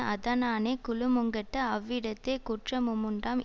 அதனானே குலமுங்கெட்டு அவ்விடத்தே குற்றமுமுண்டாம்